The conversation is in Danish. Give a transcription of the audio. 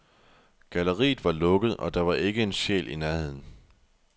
Galleriet var lukket, og der var ikke en sjæl i nærheden.